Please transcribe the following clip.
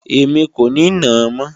Èmi kò ní nàá mọ́